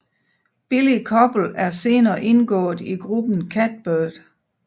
Billie Koppel er senere indgået i gruppen Catbird